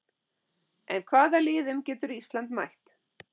En hvaða liðum getur Ísland mætt?